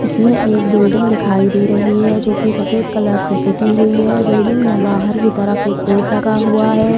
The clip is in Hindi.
इसमें एक बिल्डिंग दिखाइ दे रही है जो कि सफ़ेद कलर से पुती हुई है। बिल्डिंग में बहार की तरफ एक बोर्ड लगा हुआ है।